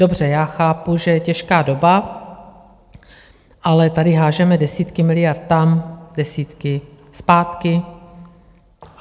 Dobře, já chápu, že je těžká doba, ale tady házíme desítky miliard tam, desítky zpátky.